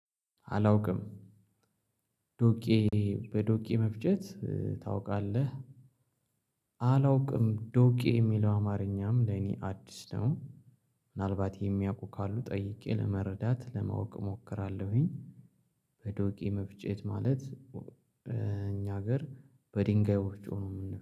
አላውቅም ዶቄ በዶቄ መፍጨት ታውቃለህ? አላውቅም ዶቄ የሚለው አማርኛም ለኔ አዲስ ነው። ምናልባት የሚያውቁ ካሉ ጠይቄ ለመረዳት ለማወቅ እሞክራለሁኝ። በዶቄ መፍጨት ማለት በእኛ ሀገር በድንጋይ ወፍጮ ነው